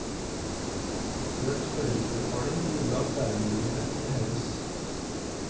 Økt foreldrebetaling gjorde at lærerlønningene kunne heves.